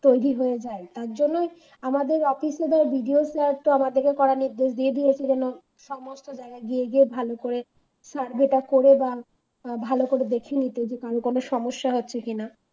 তৈরি হয়ে যায় এজন্য আমাদের Office এর ও BDO sir তো আমাদের কড়া নির্দেশ দিয়ে দিয়েছে যেন সমস্ত জায়গায় গিয়ে গিয়ে ভালো করে survey করে করে দাও ভালো করে দেখে নিতে কারো কোন সমস্যা হচ্ছে কিনা